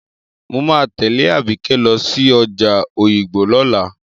Mo máa tẹ̀lé Àbíkẹ́ lọ sí ọjà Òyìngbò lọ́la.